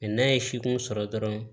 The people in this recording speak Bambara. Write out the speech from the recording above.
n'a ye sikun sɔrɔ dɔrɔn